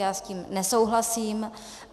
Já s tím nesouhlasím.